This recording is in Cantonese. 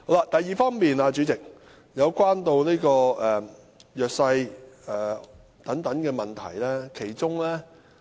第二點，代理主席，是有關弱勢社群的問題。